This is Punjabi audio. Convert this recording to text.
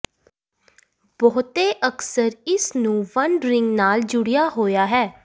ਬਹੁਤੇ ਅਕਸਰ ਇਸ ਨੂੰ ਵੰਡ ਰਿੰਗ ਨਾਲ ਜੁੜਿਆ ਹੋਇਆ ਹੈ